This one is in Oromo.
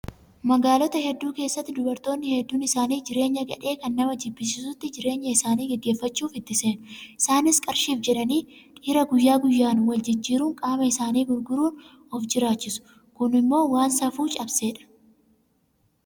Magaalota hedduu keessatti dubartoonni hedduun isaanii jireenya gadhee kan nama jibbisiisutti jireenya isaanii gaggeeffachuuf itti seenu. Isaanis qarshiif jedhanii dhiira guyyaa guyyaan waliin jijjiiruun qaama isaanii gurguruun of jiraachisu. Kunimmoo waan safuu cabsedha.